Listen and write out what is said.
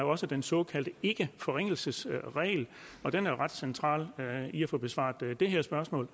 også den såkaldte ikkeforringelsesregel og den er ret central hvad angår at få besvaret det her spørgsmål